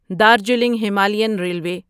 Darjeeling Himalayan railway